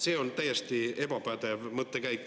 See on täiesti ebapädev mõttekäik.